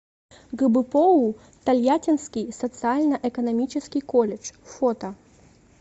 гбпоу тольяттинский социально экономический колледж фото